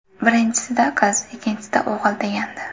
Birinchisida qiz, ikkinchisida o‘g‘il degandi.